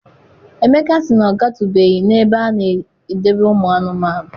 Emeka sị na ọ gatubeghị n'ebe a na-edobe ụmụ anụmanụ.